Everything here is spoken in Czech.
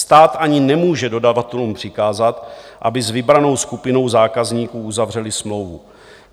Stát ani nemůže dodavatelům přikázat, aby s vybranou skupinou zákazníků uzavřeli smlouvu.